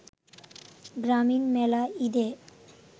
গ্রামীণ মেলা ঈদে